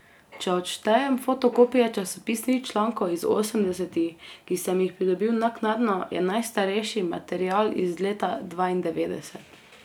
Če odštejem fotokopije časopisnih člankov iz osemdesetih, ki sem jih pridobil naknadno, je najstarejši material iz leta dvaindevetdeset.